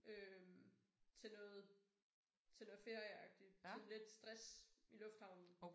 Øh til noget til noget ferieagtigt sådan lidt stress i lufthavnen